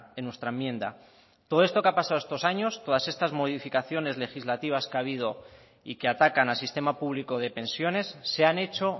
en nuestra enmienda todo esto que ha pasado estos años todas estas modificaciones legislativas que ha habido y que atacan al sistema público de pensiones se han hecho